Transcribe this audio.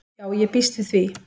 Já ég býst við því.